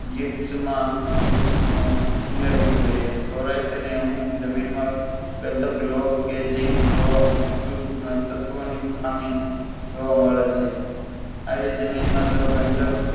gifts ગિફ્ટ માં ઉમેરવો જોઈએ સૌરાષ્ટ્રની અમુક જમીનમાં લો કે સૂક્ષ્મ તત્વોની ખામી જોવા મળે છે આવી જમીન માં જો બદક